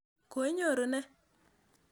Koinyoru nee?